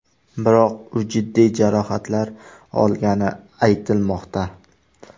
Biroq u jiddiy jarohatlar olgani aytilmoqda.